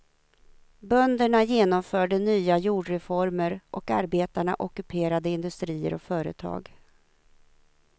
Bönderna genomförde nya jordreformer och arbetarna ockuperade industrier och företag.